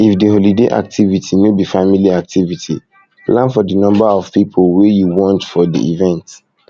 if di holiday activity no be family activity plan for di number of pipo wey you want for di event